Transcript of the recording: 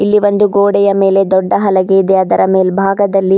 ಈ ಒಂದು ಗೋಡೆಯ ಮೇಲೆ ದೊಡ್ಡ ಹಲಗೆ ಇದೆ ಅದರ ಮೇಲ್ಭಾಗದಲ್ಲಿ--